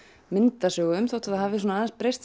myndasögum þótt það hafi aðeins breyst